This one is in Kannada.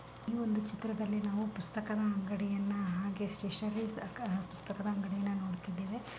ಈ ಒಂದು ಚಿತ್ರದಲ್ಲಿ ನಾವು ಪುಸ್ತಕದ ಅಂಗಡಿಯನ್ನ ಪುಸ್ತಕದ ಅಂಗಡಿಯನ್ನ ನೋಡುತ್ತಿದ್ದೇವೆ.